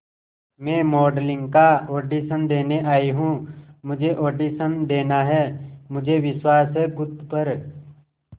मैं मॉडलिंग का ऑडिशन देने आई हूं मुझे ऑडिशन देना है मुझे विश्वास है खुद पर